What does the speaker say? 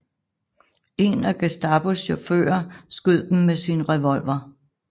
En af Gestapos chauffører skød dem med sin revolver